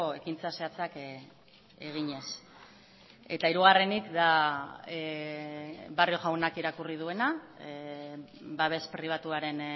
ekintza zehatzak eginez eta hirugarrenik da barrio jaunak irakurri duena babes pribatuaren